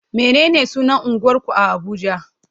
Menene sunan unguwarku a Abuja?